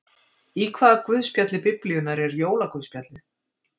Í hvaða guðspjalli Biblíunnar er jólaguðspjallið?